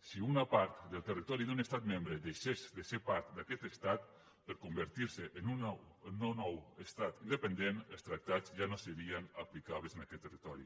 si una part del territori d’un estat membre deixés de ser part d’aquest estat per convertir se en un nou estat independent els tractats ja no serien aplicables en aquest territori